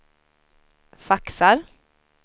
faxar